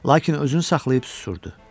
Lakin özünü saxlayıb susurdu.